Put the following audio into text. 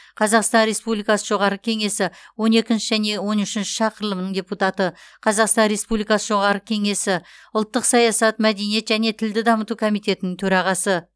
қазақстан республикасы жоғарғы кеңесі он екінші және он үшінші шақырылымының депутаты қазақстан республикасы жоғарғы кеңесі ұлттық саясат мәдениет және тілді дамыту комитетінің төрағасы